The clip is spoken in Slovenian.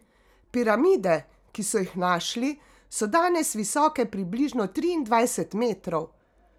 Piramide, ki so jih našli, so danes visoke približno triindvajset metrov.